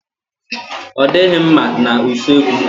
Ọ dịghị mma na usekwu.